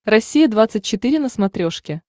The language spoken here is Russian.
россия двадцать четыре на смотрешке